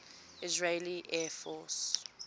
israeli air force